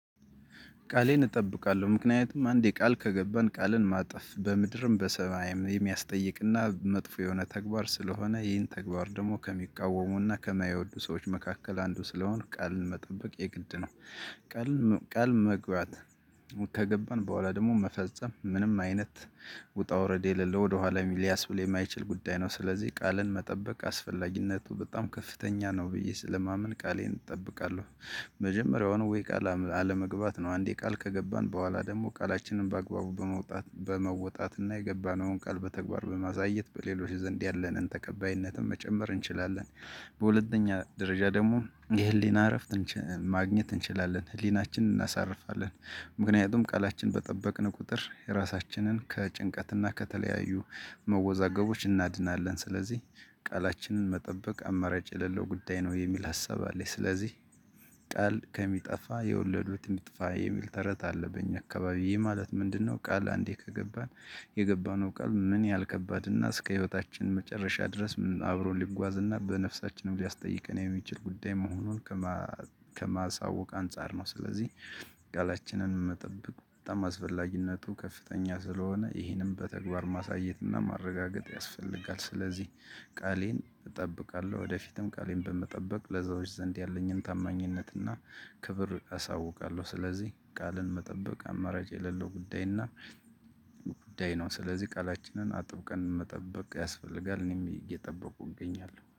ቃሌን እጠብቃለሁ ምክንያቱም አንዴ ቃል ከገባን ቃልን ማጠፍ በምድርም በሰማይም የሚያስጠይቅና መጥፎ የሆነ ተግባር ስለሆነ ይህን ተግባር ደግሞ ከሚቃወሙና ከማይወዱ ሰዎች መካከል አንዱ ስለሆነ ቃልን መጠበቅ የግድ ነው። ቃል መግባት ከገባን በኋላ ደግሞ መፈጸም ምንም አይነት ውጣ ውረድ የለለው ወደኋላ ሊያስብል የማይችል ጉዳይ ነው። ስለዚህ ቃልን መጠበቅ አስፈላጊነቱ በጣም ከፍተኛ ነው ብዬ ስለማምን ቃሌን እጠብቃለሁ። መጀመሪያውኑ ቃል አለመግባት ነው አንዴ ቃል ከገባን በኋላ ደግሞ ቃላችንን በአግባቡ በመውጣት በመውጣት እና የገባነውን ቃል በተግባር በማሳየት በሌሎች ዘንድ ያለንን ተቀባይነትን መጨመር እንችላለን። በሁለተኛ ደረጃ ደግሞ የህሊና እረፍት ማግኘት እንችላለን ህሊናችንን እናሳርፋለን። ምክንያቱም ቃላችን በጠበቅን ቁጥር የራሳችንን ከጭንቀትና ከተለያዩ መወዛገቦች እናድናለን። ስለዚህ ቃላችንን መጠበቅ አማረጭ የሌለው ጉዳይ ነው የሚል ሀሳብ አለኝ። ስለዚህ ቃል ከሚጠፋ የወለዱት የሚጠፋ የሚል ተረት አለ በኛ አካባቢዬ ማለት ምንድነው? ቃል አንዴ ከገባን የገባነው ቃል ምን ያህል ከባድና እስከ ህይወታችን መጨረሻ ድረስ አብሮ ሊጓዝ እና በነፍሳችንም ሊያስጠይቅ የሚችል ጉዳይ መሆኑን ከማሳወቅ አንፃር ነው። ስለዚህ ቃላችንን መጠበቅ በጣም አስፈላጊነቱ ከፍተኛ ስለሆነ ይህንን በተግባር ማሳየትና ማረጋገጥ ያስፈልጋል። ስለዚህ ቃሌን እጠብቃለሁ ወደፊትም ቃሌን በመጠበቅ ለሰዎች ዘንድ ያለኝን ታማኝነት እና ክብር አሳውቃለሁ። ስለዚህ ቃልን መጠበቅ አማራጭ የሌለው ጉዳይ እና ጉዳይ ነው ስለዚህ ቃላችንን አጥብቀን መጠበቅ ያስፈልጋል። እኔም እየጠበቁ እንገኛለን